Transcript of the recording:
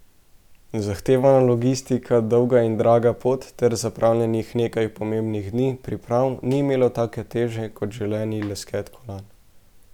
Zahtevna logistika, dolga in draga pot ter zapravljenih nekaj pomembnih dni priprav ni imelo take teže kot želeni lesket kolajn.